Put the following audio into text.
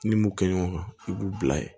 Ni m'o kɛ ɲɔgɔn kan i b'u bila ye